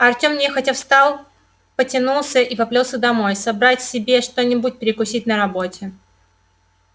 артем нехотя встал потянулся и поплёлся домой собрать себе что-нибудь перекусить на работе